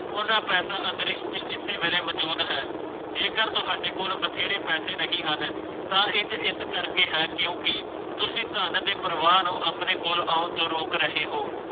ਓਨਾ ਪੈਸਾ ਆਦਰਸ਼ ਐਸੇ ਵੇਲੇ ਮੌਜੂਦ ਹੈ ਜੇਕਰ ਤੁਹਾਡੇ ਕੋਲ ਬਥੇਰੇ ਪੈਸੇ ਨਹੀਂ ਹਨ ਤਾਂ ਇਸ ਕਰਕੇ ਹੈ ਕਿਉਂਕਿ ਤੁਸੀਂ ਧੰਨ ਦੇ ਪਰਵਾਰ ਨੂੰ ਆਪਣੇ ਕੋਲ ਆਉਣ ਤੋਂ ਰੋਕ ਰਹੇ ਹੋ